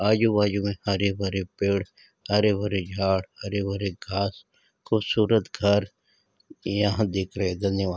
आजू-बाजू मे हरे-भरे पेड़ हरे-भरे झाड हरे-भरे घास खूबसूरत घर यहाँ दिख रहे है धन्यवाद।